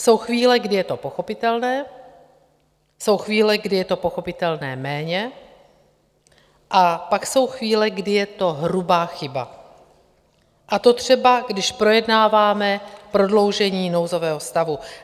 Jsou chvíle, kdy je to pochopitelné, jsou chvíle, kdy je to pochopitelné méně, a pak jsou chvíle, kdy je to hrubá chyba, a to třeba když projednáváme prodloužení nouzového stavu.